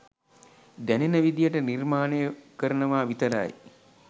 දැනෙන විදියට නිර්මාණය කරනවා විතරයි.